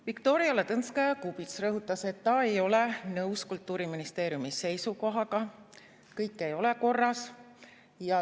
Viktoria Ladõnskaja-Kubits rõhutas, et ta ei ole nõus Kultuuriministeeriumi seisukohaga, kõik ei ole korras.